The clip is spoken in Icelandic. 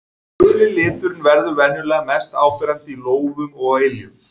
Guli liturinn verður venjulega mest áberandi í lófum og á iljum.